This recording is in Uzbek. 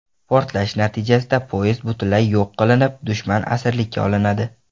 Portlash natijasida poyezd butunlay yo‘q qilinib, dushman asirlikka olinadi.